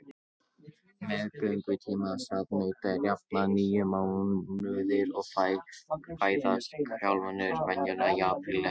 Meðgöngutími sauðnauta er að jafnaði níu mánuðir og fæðast kálfarnir venjulega í apríl eða maí.